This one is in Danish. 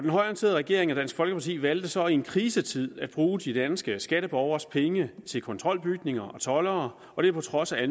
regering og dansk folkeparti valgte så i en krisetid at bruge de danske skatteborgeres penge til kontrolbygninger og toldere og det på trods af